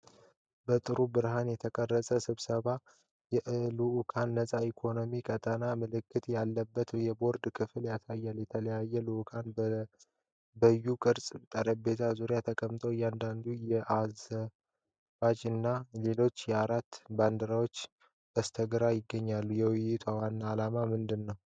በጥሩ ብርሃን የተቀረጸው ስብሰባ የአልዓት ነፃ የኢኮኖሚ ቀጣና (AFEZ) ምልክት ያለበት የቦርድ ክፍል ያሳያል። የተለያዩ ልዑካን በዩ-ቅርጽ ጠረጴዛ ዙሪያ ተቀምጠዋል። አንዳንድ የአዘርባጃን እና የሌሎች አገራት ባንዲራዎች በስተግራ ይገኛሉ። የውይይቱ ዋና ዓላማ ምንድን ነው?